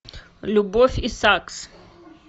любовь и сакс